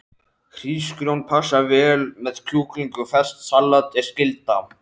Hrísgrjón passa vel með kjúklingi og ferskt salat er skylda.